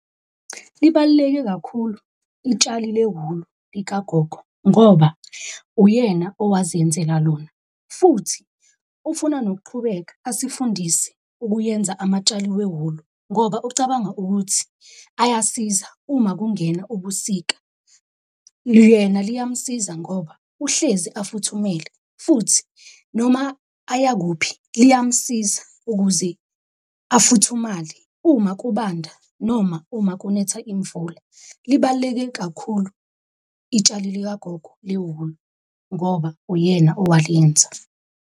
Libaluleke kakhulu itshali le wulu likagogo ngoba uyena owazenzela lona. Futhi ufuna nokuqhubeka asifundise ukuyenza amatshali wewulu ngoba ucabanga ukuthi ayasiza uma kungena ubusika. Yena liyamusiza ngoba uhlezi afuthumele, futhi noma aya kuphi liyamusiza ukuze afuthumale uma kubanda, noma uma kunetha imvula. Libaluleke kakhulu itshali likagogo lewulu ngoba uyena owalenza.